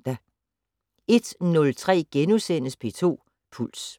01:03: P2 Puls *